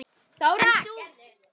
En sú von brást.